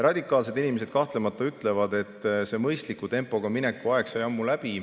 Radikaalsed inimesed kahtlemata ütlevad, et see mõistliku tempoga mineku aeg sai ammu läbi.